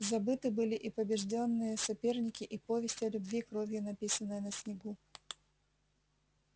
забыты были и побеждённые соперники и повесть о любви кровью написанная на снегу